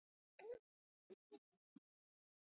Ég vil að þeir haldi áfram að hugsa.